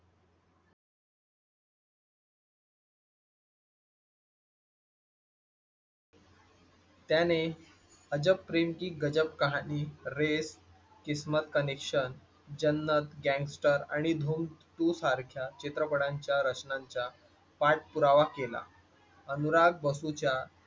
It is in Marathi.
त्याने अजब प्रेम की गजब कहाणी रे किस्मत कनेक्शन जन्नत गँगस्टर आणि धूम two सारख्या चित्रपटांच्या रचनांच्या पुरावा केला अनुराध बसू च्या